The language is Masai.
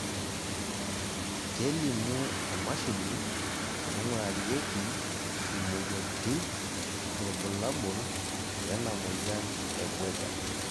kelimu emashini naingurarieki imoyiaritin irbulabol lena moyian e Buerger